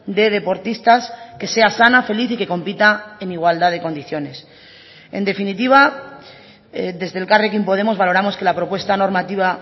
de deportistas que sea sana feliz y que compita en igualdad de condiciones en definitiva desde elkarrekin podemos valoramos que la propuesta normativa